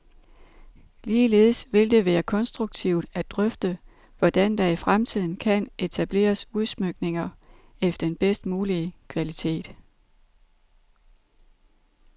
Ligeledes vil det være konstruktivt at drøfte, hvordan der i fremtiden kan etableres udsmykninger af den bedst mulige kvalitet.